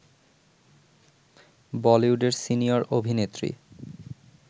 বলিউডের সিনিয়র অভিনেত্রী